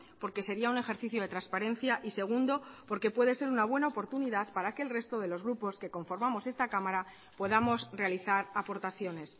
porque sería un ejercicio de transparencia y segundo porque puede ser una buena oportunidad para que el resto de los grupos que conformamos esta cámara podamos realizar aportaciones